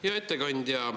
Hea ettekandja!